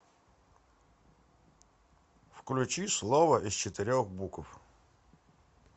включи слово из четырех букв